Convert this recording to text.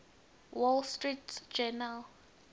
wall street journal